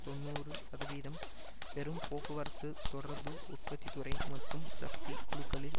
தொன்னூறு சதவீதம் பெரும் போக்குவரத்து தொடர்பு உற்பத்தி துறை மற்றும் சக்தி குழுக்களில்